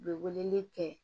U bɛ weleli kɛ